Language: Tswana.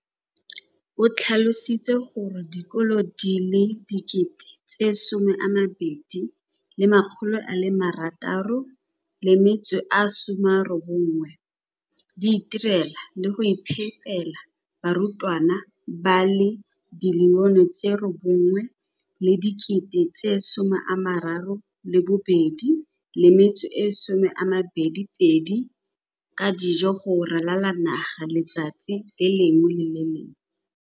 O tlhalositse gore dikolo di le 20 619 di itirela le go iphepela barutwana ba le 9 032 622 ka dijo go ralala naga letsatsi le lengwe le le lengwe.